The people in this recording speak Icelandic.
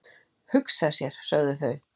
Hugsa sér, sögðu þau.